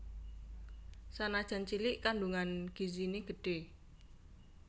Sanajan cilik kandungan gizine gedhe